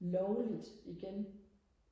lovligt igen